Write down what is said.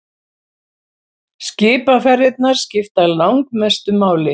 Skipaferðirnar skipta langmestu máli.